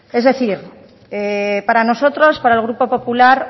es decir para nosotros para el grupo popular